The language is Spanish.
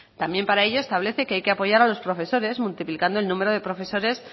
también para ello se establece que hay que apoyar los profesores multiplicando el número de profesores